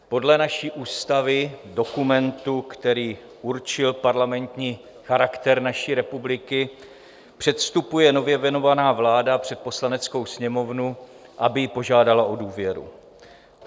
Podle naší ústavy, dokumentu, který určil parlamentní charakter naší republiky, předstupuje nově jmenovaná vláda před Poslaneckou sněmovnu, aby ji požádala o důvěru.